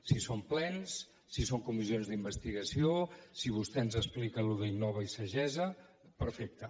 si són plens si són comissions d’investigació si vostè ens explica allò d’innova i sagessa perfecte